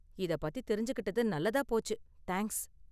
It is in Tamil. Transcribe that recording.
இதப்பத்தி தெரிஞ்சுக்கிட்டது நல்லதா போச்சு, தேங்க்ஸ்.